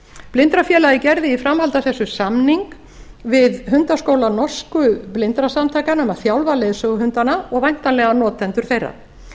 blindrafélagið gerði í framhaldi af þessu samning við hundaskóla norsku blindrasamtakanna um að þjálfa leiðsöguhundana og væntanlega notendur þeirra